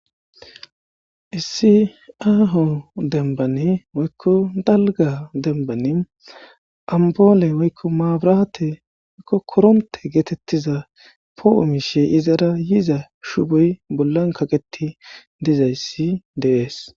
Issiaho denbani woykko dalga denbani amboole woykko maaburate okko koronte geetettiza poo'o mishe izara yiza shuboy bollan kaqeti dizayssi dees.